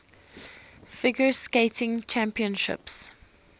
figure skating championships